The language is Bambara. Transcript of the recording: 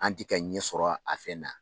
An ti kɛ ɲɛsɔrɔ a fɛn na.